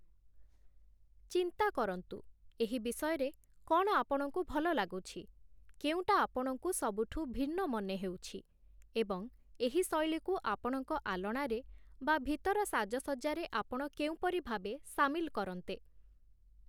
ଚିନ୍ତା କରନ୍ତୁ, ଏହି ବିଷୟରେ କ'ଣ ଆପଣଙ୍କୁ ଭଲ ଲାଗୁଛି, କେଉଁଟା ଆପଣଙ୍କୁ ସବୁଠୁ ଭିନ୍ନ ମନେହେଉଛି, ଏବଂ ଏହି ଶୈଳୀକୁ ଆପଣଙ୍କ ଆଲଣାରେ ବା ଭିତର ସାଜସଜ୍ଜାରେ ଆପଣ କେଉଁପରି ଭାବେ ସାମିଲ କରନ୍ତେ ।